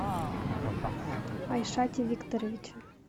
айшате викторовиче